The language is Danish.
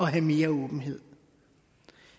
have mere åbenhed